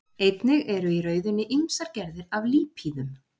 Einnig eru í rauðunni ýmsar gerðir af lípíðum.